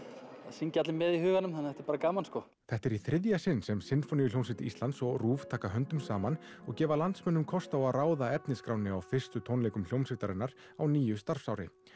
syngja allir með í huganum þannig að þetta er bara gaman sko þetta er í þriðja sinn sem Sinfóníuhljómsveit Íslands og taka höndum saman og gefa landsmönnum kost á að ráða efnisskránni á fyrstu tónleikum hljómsveitarinnar á nýju starfsári